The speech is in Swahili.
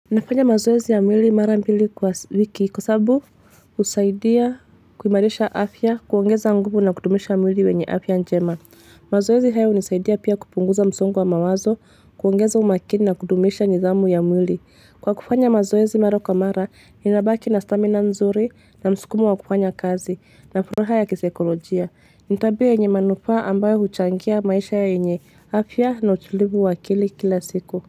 Nafanya mazoezi ya mwili mara mbili kwa wiki kwa sababu husaidia kuimarisha afya kuongeza nguvu na kudumisha mwili wenye afya njema. Mazoezi haya hunisaidia pia kupunguza msongo wa mawazo kuongeza umakini na kudumisha nidhamu ya mwili. Kwa kufanya mazoezi mara kwa mara ninabaki na stamina nzuri na msukumo wa kufanya kazi na furaha ya kisaikolojia. Ni tabia yenye manufaa ambayo huchangia maisha yenye afya na utulivu wa akili kila siku.